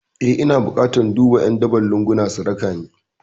Eh ina bukatar duka ƴan daban lunguna su rakani